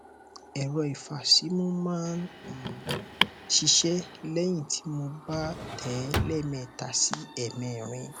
ẹrọ ìfàsímú máa um ń ṣiṣẹh lẹyìn tí mo bá tẹ ẹ lẹẹmẹta sí ẹẹmẹrin